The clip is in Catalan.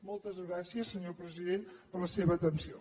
moltes gràcies senyor president per la seva atenció